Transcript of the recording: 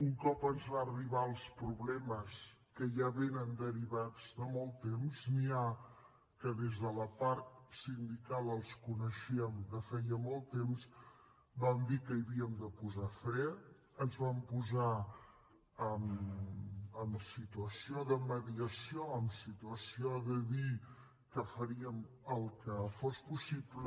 un cop ens van arribar els problemes que ja vénen derivats de molt temps n’hi ha que des de la part sindical els coneixíem de feia molt temps vam dir que hi havíem de posar fre ens vam posar en situació de mediació en situació de dir que faríem el que fos possible